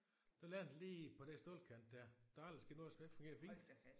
Den landede lige på den stålkant der. Der er aldrig sket noget så den fungerer fint